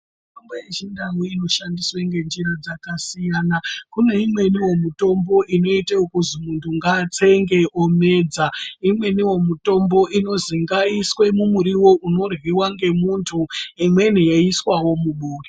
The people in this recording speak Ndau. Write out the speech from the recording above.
Mitombo yechintau inoshandiswa ngenzira dzakasiyana kune imwe mitombo inoitwa yekuti munhu ngaatsenge omedza imweni mitombo inini ngaiiswe mumuriwo toryiwa ngemuntu .